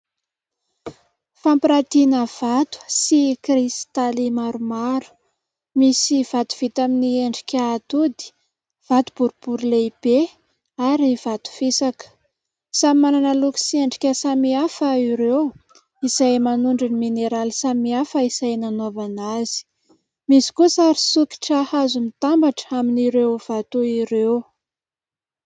Fampirantiana vato sy kristaly maromaro. Misy vato vita amin'ny endrika atody, vato boribory lehibe ary vato fisaka. Samy manana loko sy endrika samihafa ireo izay manondro ny mineraly samihafa izay nanaovana azy. Misy koa sary sikotra hazo mitambatra amin'ireo vato ireo.